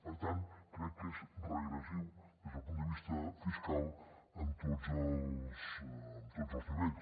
per tant crec que és regressiu des del punt de vista fiscal en tots els nivells